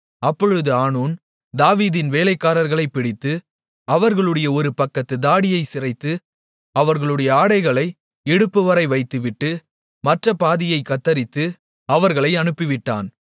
அப்பொழுது ஆனூன் தாவீதின் வேலைக்காரர்களைப் பிடித்து அவர்களுடைய ஒருபக்கத்துத் தாடியைச் சிரைத்து அவர்களுடைய ஆடைகளை இடுப்புவரை வைத்துவிட்டு மற்றபாதியைக் கத்தரித்து அவர்களை அனுப்பிவிட்டான்